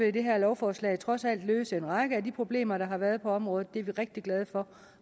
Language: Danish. at det her lovforslag trods alt vil løse en række af de problemer der har været på området det er vi rigtig glade for